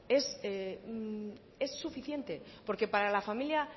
es suficiente porque para la familia